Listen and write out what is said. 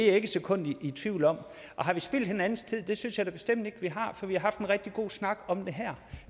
ikke et sekund i tvivl om har vi spildt hinandens tid det synes jeg da bestemt ikke vi har for vi har haft en rigtig god snak om det her